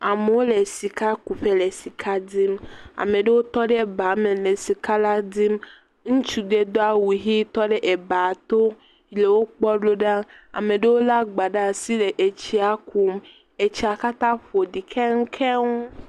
Amewo le sika kuƒe he sika dim, ame aɖewo tɔ ɖ ba me le sika la dim, ŋutsu ɖe do awu ʋi tɔ ɖe eba to le wokpɔn do ɖa, ame ɖewo le egba ɖe asi le etsia kum, etsia kata ƒoɖi keŋkeŋ.